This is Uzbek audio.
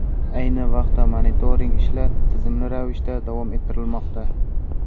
Ayni vaqtda monitoring ishlar tizimli ravishda davom ettirilmoqda.